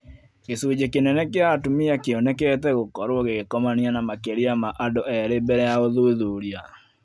Gĩcunjĩ kĩnene kĩa atumia kĩonekete gũkorũo gĩgĩkomania na makĩria ma andũ eerĩ mbele ya ùthuthuria